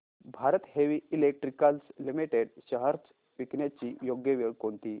Bharat heavy electricals limited shares विकण्याची योग्य वेळ कोणती